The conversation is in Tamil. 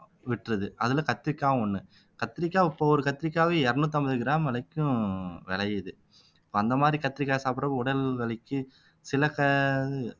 விட்ருது அதுல கத்திரிக்காவும் ஒண்ணு கத்திரிக்காய் இப்ப ஒரு கத்திரிக்காய் இருநூத்தி ஐம்பது கிராம் வரைக்கும் விளையுது இப்ப அந்த மாதிரி கத்தரிக்காய் சாப்பிடுறது உடல் வலிக்கு சில க